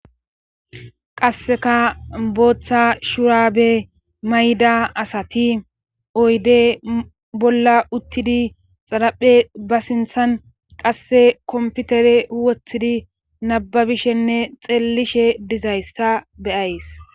qasseka booththa shuraabe mayda asati oyde bolla uttidi xaraphe ba sinthan qasse komputere huwothidi nababishenne xeellishe dizayssa beyays